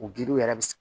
O giliw yɛrɛ bi